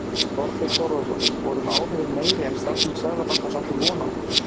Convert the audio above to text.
Þorbjörn Þórðarson: Voru áhrifin meiri en starfsmenn Seðlabankans áttu von á?